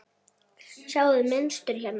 Sjáiði mynstur hérna?